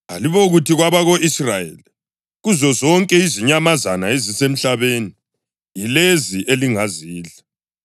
“Alibokuthi kwabako-Israyeli: ‘Kuzozonke izinyamazana ezisemhlabeni, yilezi elingazidla;